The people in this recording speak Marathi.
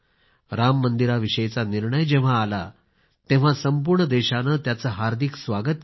राम मंदिराविषयीचा निर्णय जेव्हा आला तेव्हा संपूर्ण देशाने त्याचे हार्दिक स्वागत केले